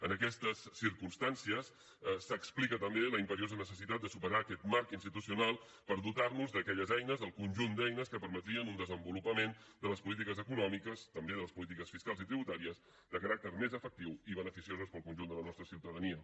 en aquestes circumstàncies s’explica també la imperiosa necessitat de superar aquest marc institucional per dotar nos d’aquelles eines del conjunt d’eines que permetrien un desenvolupament de les polítiques econòmiques també de les polítiques fiscals i tributàries de caràcter més efectiu i beneficioses per al conjunt de la nostra ciutadania